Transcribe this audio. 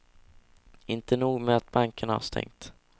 Inte nog med att bankerna har stängt.